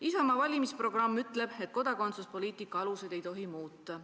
Isamaa valimisprogramm ütleb aga, et kodakondsuspoliitika aluseid ei tohi muuta.